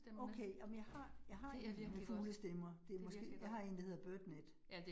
Okay, jamen jeg har, jeg har nemlig fuglestemmer. Det måske, jeg har en, der hedder BirdNET